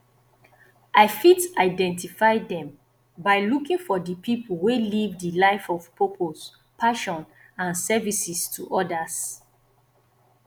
i fit identify dem by looking for di people wey live di life of purpose passion and services to odas